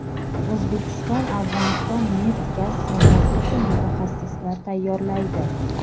O‘zbekiston Afg‘oniston neft-gaz sohasi uchun mutaxassislar tayyorlaydi.